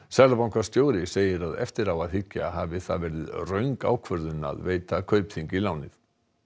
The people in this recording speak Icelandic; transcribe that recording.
seðlabankastjóri segir að eftir á að hyggja hafi það verið röng ákvörðun að veita Kaupþingi lánið